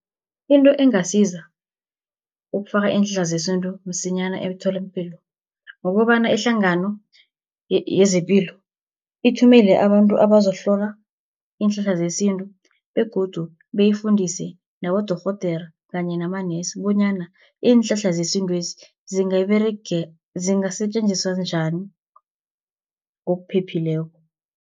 Into engasiza ukufaka iinhlahla zesintu msinyana emtholapilo, kukobana ihlangano yezepilo ithumele abantu abazokuhlola iinhlahla zesintu, begodu beyifundise nabodorhodere kanye namanesi, bonyana iinhlahla zesintwezi zingasetjenziswa njani ngokuphephileko.